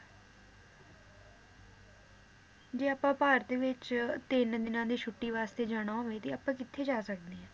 ਜੇ ਆਪਾਂ ਭਾਰਤ ਵਿਚ ਤਿੰਨ ਦਿਨਾਂ ਦੀ ਛੁੱਟੀ ਵਾਸਤੇ ਜਾਣਾ ਹੋਵੇ ਤੇ ਆਪਾਂ ਕਿਥੇ ਜਾ ਸਕਦੇ ਆ?